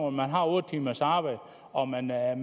om man har otte timers arbejde og om man er